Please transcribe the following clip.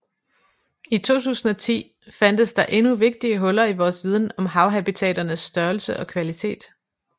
I 2010 fandtes der endnu vigtige huller i vores viden om havhabitaternes størrelse og kvalitet